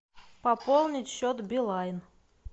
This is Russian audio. пополнить счет билайн